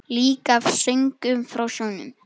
Líka af söngnum frá sjónum.